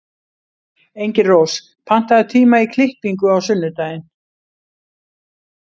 Engilrós, pantaðu tíma í klippingu á sunnudaginn.